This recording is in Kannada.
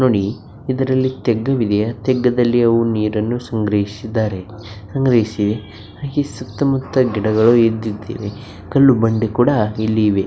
ನೋಡಿ ಇದರಲ್ಲಿ ತೆಗ್ಗ ಇದೆಯಾ ತೆಗ್ಗದಲ್ಲಿ ಅವರು ನೀರನ್ನು ಸಂಗ್ರಹಿಸಿದ್ದಾರೆ ಸಂಗ್ರಹಿಸಿ ಹಾಗೆ ಸುತ್ತ ಮುತ್ತ ಗಿಡಗಳು ಇದ್ದಿದವೇ ಕಲ್ಲು ಬಂಡೆ ಕೂಡ ಇಲ್ಲಿ ಇವೆ.